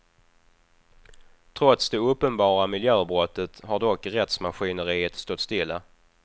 Trots det uppenbara miljöbrottet har dock rättsmaskineriet stått stilla.